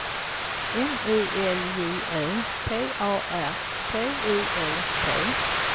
M I L J Ö P A R T I E T